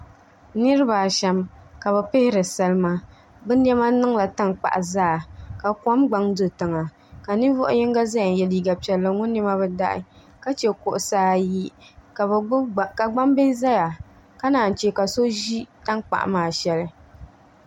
Nirabaashɛm ka bi pihiri salima bi niɛma niŋla tankpaɣu zaa ka kom pam do tiŋa ka ninvuɣu yino ʒɛya n yɛ liiga piɛlli ŋuni niɛma bi daɣi ka chɛ kuɣusi ayi ka gbambili ʒɛya ka naan chɛ ka so ʒi tankpaɣu maa shɛli